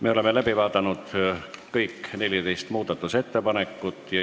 Me oleme kõik 14 muudatusettepanekut läbi vaadanud.